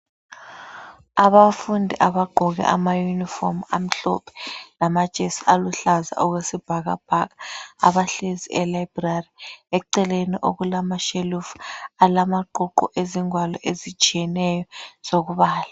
Abantwana bagqoke amauniform amhlophe lamajesi aluhlaza okwesibhakabhaka abahlezi elibrary eceleni okulashelufu alamaqhuqhu ezingwalo ezitshiyenyo zokubala